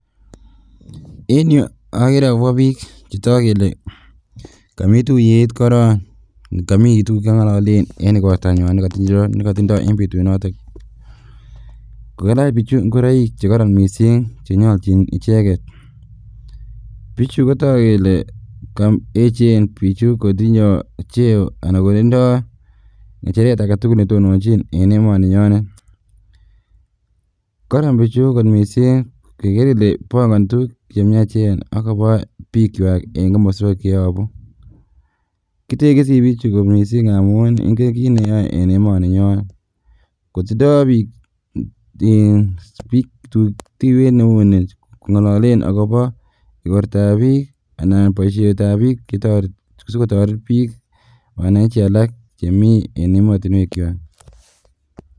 En yuu okeree akobo biik chetoku kelee komii tuyet korong, komii tukuk chekong'ololen en ikortanywan nekotindo en betunotok, kokalach bichu ing'oroik chekoron mising chenyolchin icheket, bichu kotokuu kelee koechen bichu kotinye cheo anan kotindo ng'echeret aketukul netononchin en emoninyonet, koron bichu kot mising keker kelee bong'onii tukuk chemiachen akoboo bikwak en komoswek cheyobu, kitekisi bichu kot mising amun ing'en kiit neyoe en emoninyonet, kotindo biik timiit neuni Kong'ololen akobo ikortab biik anan boishetab biik sikoteret biik wananchi chemii en emotinwekwak.